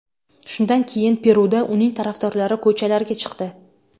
Shundan keyin Peruda uning tarafdorlari ko‘chalarga chiqdi.